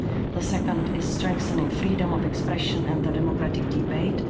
the second is strengthening freedom of expression and democratic debate